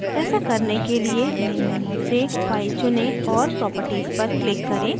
ऐसा करने के लिए main menu से file चुनें और properties पर click करें